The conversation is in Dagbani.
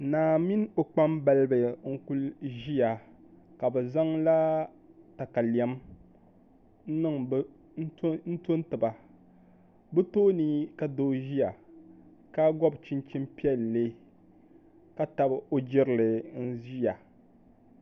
Naa mini o kpambalibi n kuli ʒiya ka bi zaŋla katalɛm n to n tiba bi tooni ka doo ʒiya ka gob chinchin piɛlli ka tabi o jirili n ʒiya